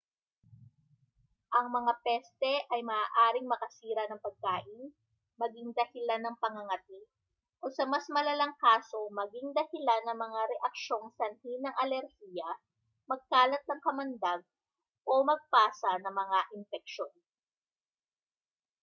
ang mga peste ay maaaring makasira ng pagkain maging dahilan ng pangangati o sa mas malalang kaso maging dahilan ng mga reaksyong sanhi ng alerhiya magkalat ng kamandag o magpasa ng mga impeksyon